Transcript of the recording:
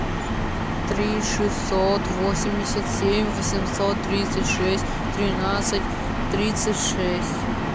три шестьсот восемьдесят семь восемьсот тридцать шесть тринадцать тридцать шесть